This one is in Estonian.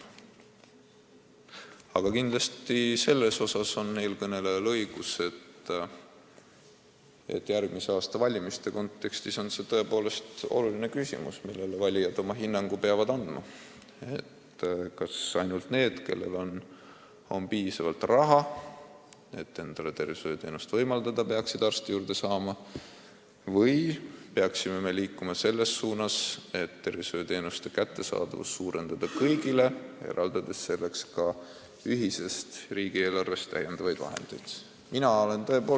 Aga selles osas on eelkõnelejal kindlasti õigus, et järgmise aasta valimiste kontekstis on tõepoolest oluline küsimus, millele valijad oma hinnangu peavad andma: kas ainult need, kellel on piisavalt raha, et endale tervishoiuteenuseid võimaldada, peaksid arsti juurde saama, või peaksime liikuma selles suunas, et suurendada arstiabi kättesaadavust kõigile, eraldades selleks ka ühisest riigieelarvest lisaraha?